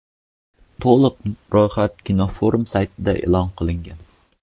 To‘liq ro‘yxat kinoforum saytida e’lon qilingan .